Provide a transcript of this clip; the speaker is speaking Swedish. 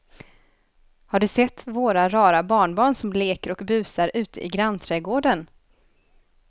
Har du sett våra rara barnbarn som leker och busar ute i grannträdgården!